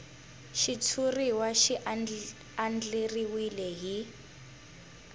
xitshuriwa xi andlariwile hi